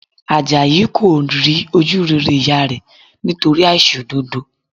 Àjàyí kò rí ojú rere ìyá rẹ̀ nítorí àìṣòdodo